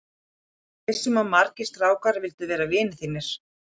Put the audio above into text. Ég er viss um að margir strákar vildu verða vinir þínir.